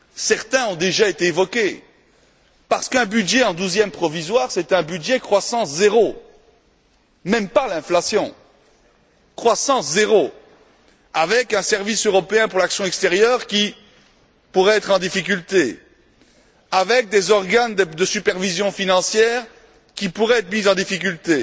Certaines ont déjà été évoquées, parce qu'un budget en douzièmes provisoires, c'est un budget croissance zéro, sans tenir compte de l'inflation, avec un service européen pour l'action extérieure qui pourrait être en difficulté, avec des organes de supervision financière qui pourraient être mis en difficulté,